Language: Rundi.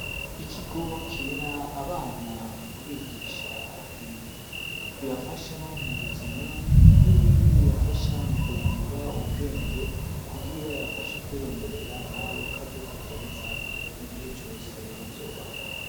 Ikigo kirera abana mu kubigisha ibintu bibafasha mu buzima, n'ibindi bibafasha mu kubungura ubwenge, kugira babafashe kwironderera n'abo kazoza keza, mu gihe cose bazobaho.